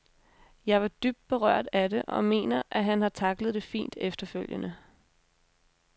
Jeg var dybt berørt af det og mener, at han har tacklet det fint efterfølgende.